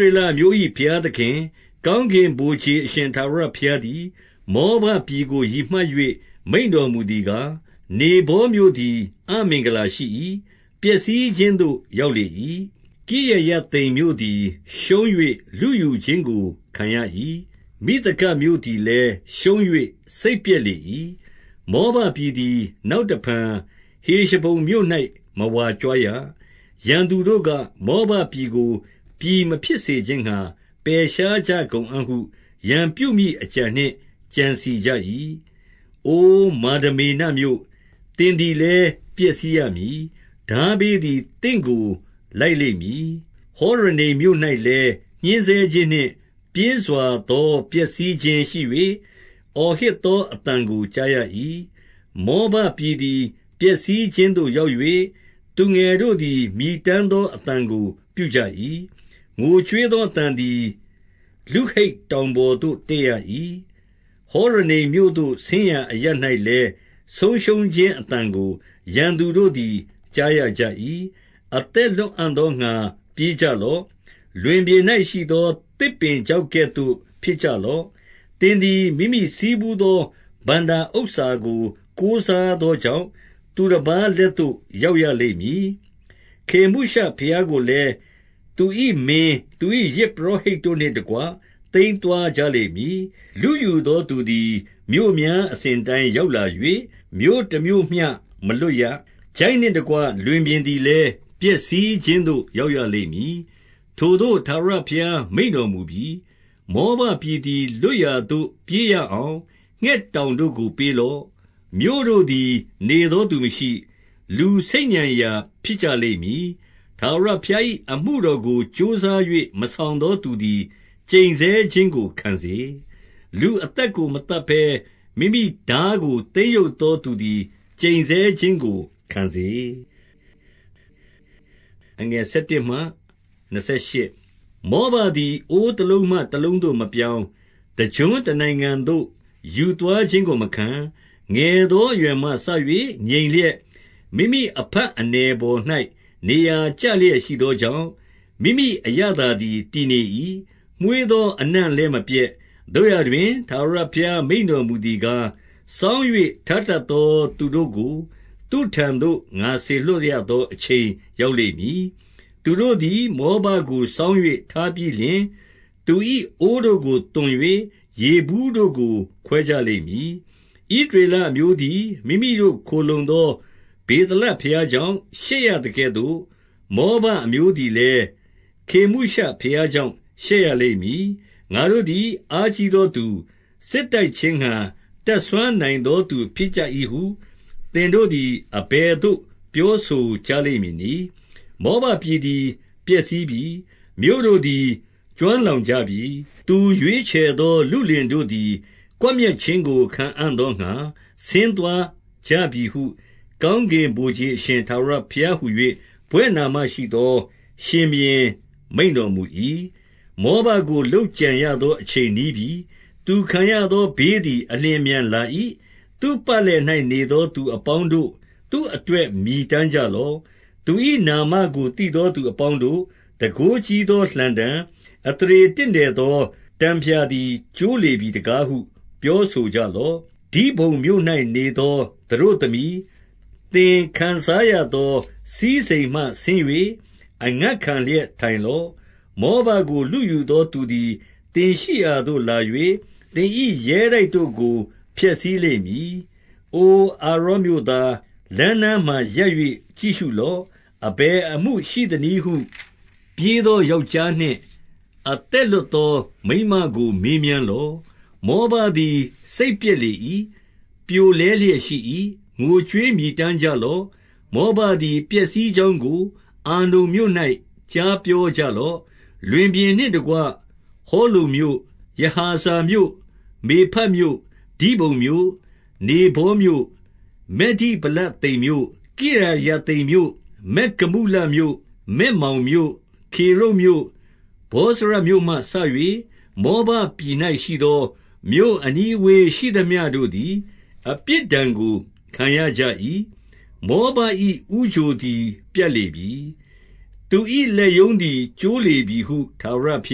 ရေလအမျိုး၏ ဘုရားသခင်ကောင်းကင် ဗိုလ်ခြေအရှင် ထာဝရဘုရားသည် မောဘပြည်ကို ရည်မှတ်၍ မိန့်တော်မူသည်ကား၊ နေဗောမြို့သည် အမင်္ဂလာရှိ၏။ ပျက်စီးခြင်းသို့ရောက်လေ၏။ ကိရယ သိမ်မြို့သည် ရှုံး၍လုယူခြင်းကို ခံရ၏။ မိသဂပ် မြို့ သည်လည်း ရှုံး၍ စိတ်ပျက်လေ၏။ 2 မောဘပြည်သည် နောက်တဖန် ဟေရှဘုန် မြို့၌ မဝါကြွားရ။ ရန်သူတို့က၊ မောဘပြည်ကို ပြည်မဖြစ် စေခြင်းငှါ ပယ်ရှားကြကုန်အံ့ဟု၊ ရန်ပြုမည့်အကြံနှင့် ကြံစည်ကြ၏။ အိုမာဒမေနမြို့၊ သင်သည်လည်းပျက် စီးရမည်။ ထားဘေးသည် သင့်ကိုလိုက်လိမ့်မည်။ 3 ဟောရနိမ်မြို့၌လည်း ညှဉ်းဆဲခြင်းနှင့် ပြင်းစွာ သော ပျက်စီးခြင်းရှိ၍၊ အော်ဟစ်သောအသံကိုကြားရ၏။ 4 မောဘပြည်သည်ပျက်စီးခြင်းသို့ရောက်၍၊ သူငယ်တို့သည် မြည်တမ်းသောအသံကိုပြုကြ၏။ 5 ငိုကြွေးသောအသံသည် လုဟိတ်တောင်ပေါ်သို့ တက်ရ၏။ ဟောရနိမ်မြို့သို့ဆင်းရာအရပ်၌လည်း၊ ဆုံးရှုံးခြင်းအသံကိုရန်သူတို့သည် ကြားရကြ၏။ 6 အသက်လွတ်အံ့သောငှါပြေးကြလော့။ လွင်ပြင် ၌ရှိသော သစ်ပင်ခြောက်ကဲ့သို့ဖြစ်ကြလော့။ 7 သင်သည်မိမိဆည်းဖူးသော ဘဏ္ဍာဥစ္စာကို ကိုးစားသောကြောင့်၊ သူတပါးလက်သို့ရောက်ရလိမ့်မည်။ ခေမုရှဘုရားကိုလည်း သူ၏မင်း၊ သူ၏ယဇ်ပုရောဟိတ်တို့ နှင့်တကွ သိမ်းသွားကြလိမ့်မည်။ 8 လုယူသောသူသည် မြို့များအစဉ်အတိုင်း ရောက်လာ၍ မြို့တမြို့မျှမလွတ်ရ။ ချိုင့်နှင့်တကွ လွင်ပြင် သည်လည်း၊ ပျက်စီးခြင်းသို့ ရောက်ရလိမ့်မည်။ ထိုသို့ ထာဝရဘုရား မိန့်တော်မူပြီ။ 9 မောဘပြည်သည် လွတ်ရာသို့ ပြေးရအောင် ငှက်တောင်တို့ကို ပေးလော့။ မြို့တို့သည်နေသောသူမရှိ၊ လူဆိတ်ညံရာဖြစ်ကြလိမ့်မည်။ 10 ထာဝရဘုရား၏ အမှုတော်ကို ကြိုးစား၍ မဆောင်သော သူသည် ကျိန်ဆဲခြင်းကိုခံစေ။ လူအသက် ကို မသတ်ဘဲမိမိထားကို သိမ်းရုပ်သောသူသည် ကျိန်ဆဲ ခြင်းကိုခံစေ။ 11 မောဘသည်အိုးတလုံးမှ တလုံးသို့မပြောင်း၊ တကျွန်းတနိုင်ငံသို့ ယူသွားခြင်းကိုမခံ၊ ငယ်သော အရွယ်မှစ၍ ငြိမ်လျက်၊ မိမိအဖတ်အနည်ပေါ်၌ နေရာ ကျလျက်ရှိသောကြောင့်၊ မိမိအရသာသည် တည့်နေ၏။ မွှေးသောအနံ့လည်း မပျက်။ 12 သို့ရာတွင် ထာဝရဘုရားမိန့်တော်မူသည်ကား၊ စောင်း၍ထားတတ်သောသူတို့ကို သူ့ထံသို့ ငါစေလွှတ်ရ သော အချိန်ရောက်လိမ့်မည်။ သူတို့သည် မောဘကို စောင်း၍ ထားပြီးလျှင်၊ သူ၏အိုးတို့ကိုသွန်၍ ရေဘူးတို့ကို ခွဲကြလိမ့်မည်။ 13 ဣသရေလအမျိုးသည် မိမိတို့ခိုလှုံသော ဗေသလဘုရားကြောင့် ရှက်ရသကဲ့သို့၊ မောဘအမျိုး သည်လည်း ခေမုရှဘုရားကြောင့် ရှက်ရလိမ့်မည်။ 14 ငါတို့သည်အားကြီးသောသူ၊ စစ်တိုက်ခြင်းငှါ တတ်စွမ်းနိုင်သော သူဖြစ်ကြ၏ဟု၊ သင်တို့သည် အဘယ်သို့ ပြောဆိုကြလိမ့်မည်နည်း။ 15 မောဘပြည်သည် ပျက်စီးပြီ။ မြို့တို့သည် ကျွမ်း လောင်ကြပြီ။ သူရွေးချယ်သောလုလင်တို့သည် ကွပ်မျက် ခြင်းကိုခံအံ့သောငှါ ဆင်းသွားကြပြီဟု၊ ကောင်းကင် ဗိုလ်ခြေအရှင်ထာဝရဘုရားဟူ၍ ဘွဲ့နာမရှိသော ရှင်ဘုရင်မိန့်တော်မူ၏။ 16 မောဘကို လုပ်ကြံရသောအချိန်နီးပြီ။ သူခံရ သောဘေးသည် အလျင်အမြန်လာ၏။ 17 သူ့ပတ်လည်၌နေသော သူအပေါင်းတို့၊ သူ့အတွက်မြည်တမ်းကြလော့။ သူ၏နာမကို သိသော သူအပေါင်းတို့၊ တန်ခိုးကြီးသောလှံတံ၊ အသရေတင့်တယ် သောတံဖျာသည် ကျိုးလေပြီတကားဟု ပြောဆိုကြ လော့။ 18 ဒိဘုန်မြို့၌နေသောသတို့သမီး၊ သင်ခံစားရ သော စည်းစိမ်မှ ဆင်း၍အငတ်ခံလျက်ထိုင်လော့။ မောဘကို လုယူသောသူသည် သင်ရှိရာသို့လာ၍၊ သင်၏ရဲတိုက်တို့ကို ဖျက်ဆီးလိမ့်မည်။ 19 အိုအာရော်မြို့သား၊ လမ်းနားမှာရပ်၍ ကြည့်ရှု လော့။ အဘယ်အမှုရှိသနည်းဟု၊ ပြေးသောယောက်ျားနှင့် အသက်လွတ်သော မိန်းမကိုမေးမြန်းလော့။ 20 မောဘသည်စိတ်ပျက်လေ၏။ ပြိုလဲလျက်ရှိ၏။ ငိုကြွေးမြည်တမ်းကြလော့။ မောဘသည် ပျက်စီးကြောင်း ကို အာနုန်မြို့၌ ကြားပြောကြလော့။ 21 လွင်ပြင်နှင့်တကွဟောလုန်မြို့၊ ယဟာဇမြို့၊ မေဖတ်မြို့၊ 22 ဒိဘုန်မြို့၊ နေဗောမြို့၊ ဗက်ဒိဗလသိမ်မြို့၊ 23 ကိရယသိမ်မြို့၊ ဗက်ဂမုလမြို့၊ ဗက်မောင်မြို့၊ 24 ကေရုတ်မြို့၊ ဗောဇရမြို့မှစ၍၊ မောဘပြည်၌ ရှိသောမြို့ အနီးအဝေးရှိသမျှတို့သည် အပြစ်ဒဏ်ကို ခံရ ကြ၏။ 25 မောဘ၏ဦးချိုသည် ပြတ်လေပြီ။ သူ၏လက်ရုံး သည် ကျိုးလေပြီဟု ထာဝရဘု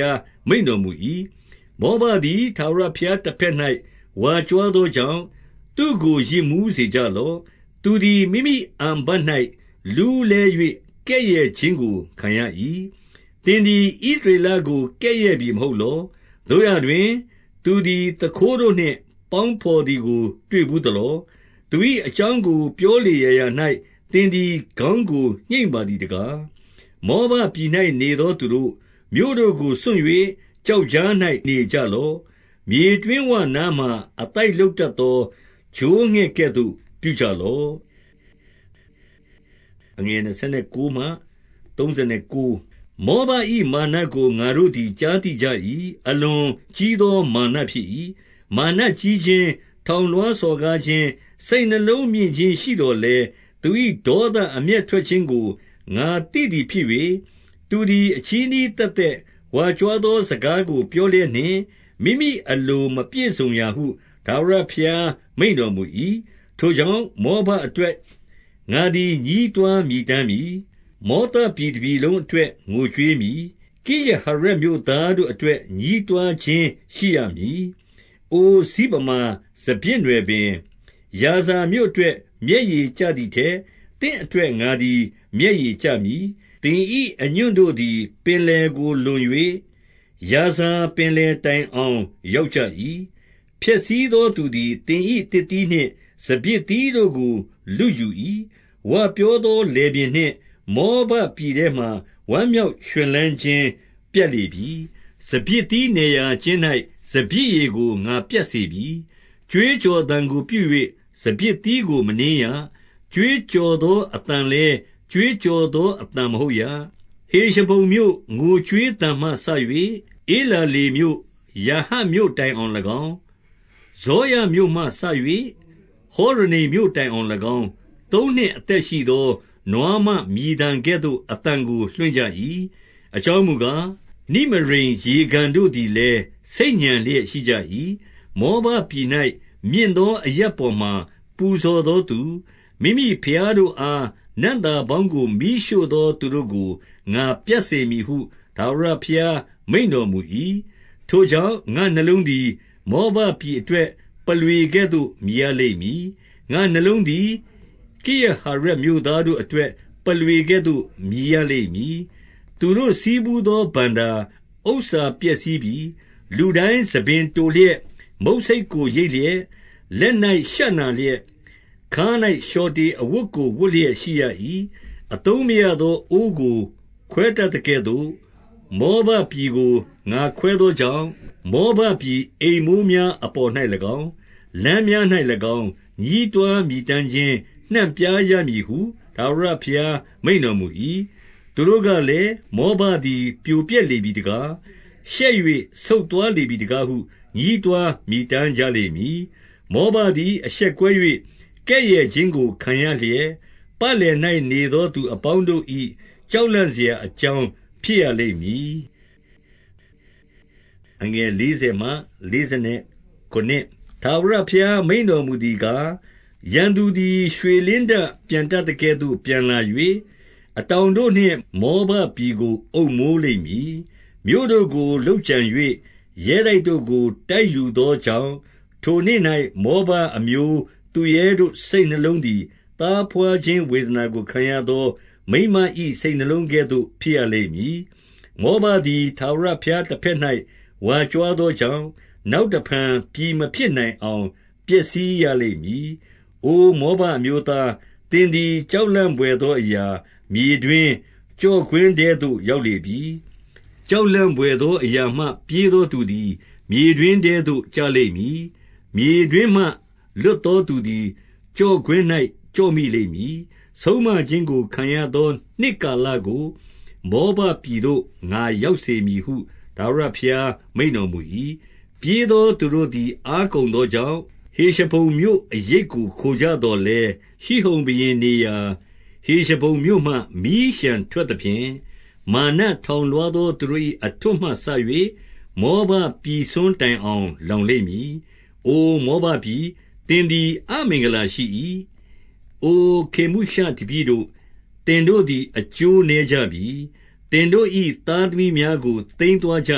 ရားမိန့်တော်မူ၏။ 26 မောဘသည် ထာဝရဘုရားတဘက်၌ ဝါကြွား သောကြောင့် သူ့ကိုယစ်မူးစေကြလော့။ သူသည် မိမိ အန်ဖတ်၌ လူးလည်း၍ ကဲ့ရဲ့ခြင်းကို ခံရ၏။ 27 သင်သည်ဣသရေလကို ကဲ့ရဲ့ပြီမဟုတ်လော။ သို့ရာတွင်၊ သူသည်သူခိုးတို့နှင့်ပေါင်းဘော်သည်ကို တွေ့ဘူးသလော။ သူ၏အကြောင်း ကိုပြောလေရာရာ၌ သင်သည်ခေါင်းကိုညှိတ်ပါသည်တကား။ 28 မောဘပြည်၌နေသောသူတို့၊ မြို့တို့ကိုစွန့်၍ ကျောက်ကြား၌ နေကြလော့။ မြေတွင်းဝနားမှာ အသိုက် လုပ်တတ်သော ချိုးဝှက်ကဲ့သို့ ပြုကြလော့။ 29 မောဘ၏မာနကိုငါတို့သည် ကြားသိကြ၏။ အလွန်ကြီးသော မာနဖြစ်၏။ မာနကြီးခြင်း၊ ထောင်လွှား စော်ကားခြင်း၊ စိတ်နှလုံးမြင့်ခြင်းရှိသော်လည်း၊ 30 သူ၏ဒေါသအမျက်ထွက်ခြင်းကို ငါသိသည် ဖြစ်၍၊ သူသည် အချည်းနှီးသက်သက်ဝါကြွားသော စကားကို ပြောလျက်နှင့်၊ မိမိအလိုမပြည့်စုံရာဟု ထာဝရ ဘုရားမိန့်တော်မူ၏။ 31 ထိုကြောင့်၊ မောဘအတွက်ငါသည် ညည်းတွား မြည်တမ်းမည်။ မောဘအတွက်ငါသည် ညည်းတွား မြည်တမ်းမည်။ မောသပြည်တပြည်လုံးအတွက် ငိုကြွေး မည်။ ကိရဟရက်မြို့သားတို့အတွက် ညည်းတွားခြင်း ရှိရမည်။ 32 အိုစိဗမာစပျစ်နွယ်ပင်၊ ယာဇာမြို့အတွက် မျက်ရည်ကျသည်ထက်၊ သင့်အတွက် ငါသည် မျက်ရည် မျက်ရည်ကျမည်။ သင်၏အညွန့်တို့သည် ပင်လယ်ကိုလွန်၍၊ ယာဇာပင် လယ်တိုင်အောင်ရောက်ကြ၏။ ဖျက်ဆီးသောသူသည် သင်၏သစ်သီးနှင့် စပျစ်သီးတို့ကို လုယူ၏။ 33 ဝပြောသောလယ်ပြင်နှင့် မောဘပြည်ထဲမှာ ဝမ်းမြောက်ရွှင်လန်းခြင်းပြတ်လေပြီ။ စပျစ်သီးနယ်ရာ ကျင်း၌စပျစ်ရည်ကို ငါပြတ်စေပြီ။ ကြွေးကြော်သံကိုပြု၍ စပျစ်သီးကိုမနင်းရ။ ကြွေးကြော်သော အသံလည်း ကြွေးကြော်သောအသံမဟုတ်ရ။ 34 ဟေရှဘုန်မြို့ ငိုကြွေးသံမှစ၍ ဧလာလေမြို့၊ ယာဟတ်မြို့တိုင်အောင်၎င်း၊ ဇောရမြို့မှစ၍ ဟောရနိမ် မြို့တိုင်အောင်၎င်း သုံးနှစ်အသက်ရှိသော နွားမမြည် သံကဲ့သို့အသံကို လွှင့်ကြ၏။ အကြောင်းမူကား၊ နိမရိမ် ရေကန်တို့သည်လည်း ဆိတ်ညံလျက်ရှိကြ၏။ 35 မောဘပြည်၌မြင့်သော အရပ်ပေါ်မှာ ပူဇော် သောသူ၊ မိမိဘုရားတို့အား နံ့သာပေါင်းကို မီးရှို့သော သူတို့ကို ငါပြတ်စေမည်ဟု ထာဝရဘုရား မိန့်တော်မူ၏။ 36 ထိုကြောင့်၊ ငါနှလုံးသည် မောဘပြည်အတွက် ပုလွေကဲ့သို့ မြည်ရလိမ့်မည်။ ငါ့နှလုံးသည် ကိရဟရက် မြို့သားတို့အတွက် ပုလွေကဲ့သို့ မြည်ရလိမ့်မည်။ သူတို့ ဆည်းဖူးသော ဘဏ္ဍာဥစ္စာပျက်စီးပြီ။ 37 လူတိုင်းဆံပင်တိုလျက်၊ မုတ်ဆိတ်ကိုရိတ်လျက်၊ လက်၌ရှနလျက်၊ ခါး၌လျှော်တေအဝတ်ကို ဝတ်လျက် ရှိရ၏။ 38 အသုံးမရသော အိုးကိုခွဲတတ်သကဲ့သို့၊ မောဘ ပြည်ကို ငါခွဲသောကြောင့်၊ မောဘပြည်အိမ်မိုးများ အပေါ်၌၎င်း၊ လမ်းများ၌၎င်း၊ ညည်းတွားမြည်တမ်း ခြင်းနှံ့ပြားရမည်ဟု ထာဝရဘုရားမိန့်တော်မူ၏။ 39 သူတို့ကလည်း၊ မောဘပြည်ပြိုပျက်လေပြီ တကား၊ ရှက်၍ဆုတ်သွားလေပြီတကားဟု ညည်းတွား မြည်တမ်းကြလိမ့်မည်။ မောဘသည် အရှက်ကွဲ၍ ကဲ့ရဲ့ ခြင်းကိုခံရလျက်၊ ပတ်လည်၌နေသော သူအပေါင်းတို့၏ ကြောက်လန့်စရာအကြောင်းဖြစ်ရလိမ့်မည်။ 40 ထာဝရဘုရားမိန့်တော်မူသည်ကား၊ ရန်သူသည် ရွှေလင်းတပျံတတ်သကဲ့သို့ပျံလာ၍၊ အတောင်တို့နှင့် မောဘပြည်ကိုအုပ်မိုးလိမ့်မည်။ 41 မြို့တို့ကိုလုပ်ကြံ၍ ရဲတိုက်တို့ကို တိုက်ယူသော ကြောင့်၊ ထိုနေ့၌မောဘအမျိုးသူရဲတို့ စိတ်နှလုံးသည်၊ သားဘွားခြင်းဝေဒနာကိုခံရသော မိန်းမ၏စိတ်နှလုံး ကဲ့သို့ဖြစ်ရလိမ့်မည်။ 42 မောဘသည် ထာဝရဘုရားတဘက်၌ ဝါကြွား သောကြောင့်၊ နောက်တဖန် ပြည်မဖြစ်နိုင်အောင် ပျက်စီးရလိမ့်မည်။ 43 အိုမောဘအမျိုးသား၊ သင်သည် ကြောက်လန့် ဘွယ်သောအရာ၊ မြေတွင်း၊ ကျော့ကွင်းထဲသို့ ရောက် လေပြီ။ 44 ကြောက်လန့်ဘွယ်သောအရာမှ ပြေးသော သူသည် မြေတွင်းထဲသို့ ကျလိမ့်မည်။ မြေတွင်းမှ လွတ်သောသူသည် ကျော့ကွင်း၌ကျော့မိလိမ့်မည်။ ဆုံးမ ခြင်းကိုခံရသော နှစ်ကာလကို မောဘပြည်သို့ ငါရောက် စေမည်ဟု ထာဝရဘုရားမိန့်တော်မူ၏။ 45 ပြေးသောသူတို့သည်အားကုန်သောကြောင့်၊ ဟေရှဘုန်မြို့အရိပ်ကို ခိုကြသော်လည်း၊ ရှိဟုန်ဘုရင် နေရာဟေရှဘုန်မြို့မှ မီးလျှံထွက်သဖြင့်၊ မာနထောင် လွှားသောသူတို့၏ အထွဋ်မှစ၍ မောဘပြည်စွန်း တိုင်အောင် လောင်လိမ့်မည်။ 46 အိုမောဘပြည်၊ သင်သည်အမင်္ဂလာရှိ၏။ အိုခေမုရှတပည့်တို့၊ သင်တို့သည် အကျိုးနည်းကြပြီ။ သင်တို့၏ သားသမီးများကို သိမ်းသွင်း ကြ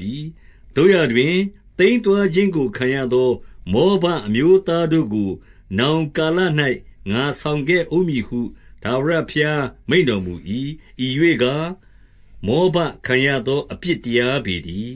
ပြီ။ 47 သို့ရာတွင်၊ သိမ်းသွားခြင်းကိုခံရသော မောဘ အမျိုးသားတို့ကို နောင်ကာလ၌ငါဆောင်ခဲ့ဦးမည်ဟု ထာဝရဘုရားမိန့်တော်မူ၏။ ဤရွေ့ကား၊ မောဘခံရ သော အပြစ်တရားပေတည်